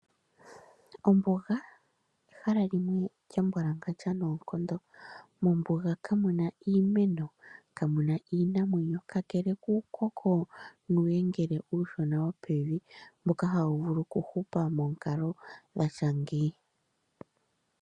Ombuga, ehal limwe lya mbwalangandja nawa kondonga. Mombuga kamuna iimeno, kamuna iinamwenyo kakele kuukoko nuuyengele uushona wo pevi, mboka hawu vulu okuhupa monkalo ya tya ngeyi.